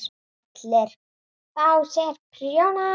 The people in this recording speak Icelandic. ALLIR AÐ FÁ SÉR PRJÓNA!